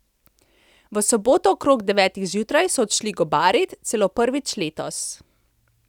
V soboto okrog devetih zjutraj so odšli gobarit, celo prvič letos.